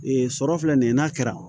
Ee sɔrɔ filɛ nin ye n'a kɛra